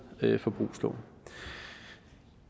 forbrugslån